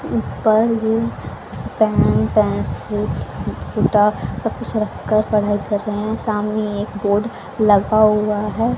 ऊपर भी pen pencil किताब सब कुछ रख कर पढाई कर रहे हैं सामने एक बोर्ड लगा हुआ है।